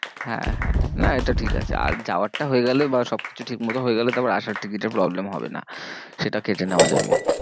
হ্যাঁ হ্যাঁ হ্যাঁ না এটা ঠিক আছে আর যাওয়ারটা হয়ে গেলে বা সব কিছু ঠিক মতো হয়ে গেলে তারপর আসার ticket এর problem হবে না। সেটা কেটে নেওয়া যাবে।